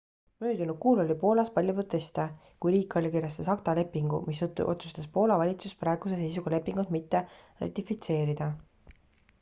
möödunud kuul oli poolas palju proteste kui riik allkirjastas acta lepingu mistõttu otsustas poola valitsus praeguse seisuga lepingut mitte ratifitseerida